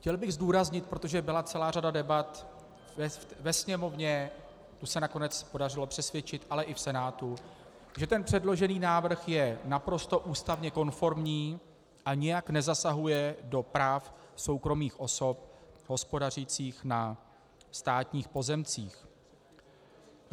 Chtěl bych zdůraznit - protože byla celá řada debat ve Sněmovně, tu se nakonec podařilo přesvědčit, ale i v Senátu -, že ten předložený návrh je naprosto ústavně konformní a nijak nezasahuje do práv soukromých osob hospodařících na státních pozemcích.